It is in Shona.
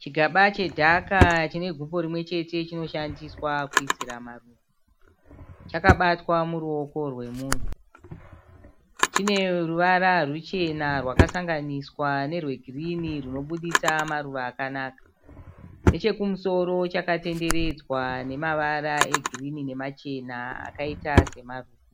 Chigaba chedhaka chine gumbo rimwe chete chinoshandiswa kuisira maruva. Chakabatwa muruoko rwemunhu. Chine ruvara rwuchena rwakasanganiswa nerwegirinhi rwunoburitsa maruva akanaka. Nechekumusoro chakatenderedzwa nemavara egirinhi nemachena akaita semaruva.